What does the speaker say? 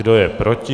Kdo je proti?